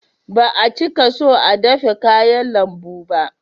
Ba a cika so a dafe kayan lambu ba